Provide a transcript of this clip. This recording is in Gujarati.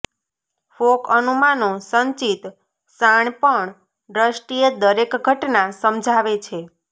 ફોક અનુમાનો સંચિત શાણપણ દ્રષ્ટિએ દરેક ઘટના સમજાવે છે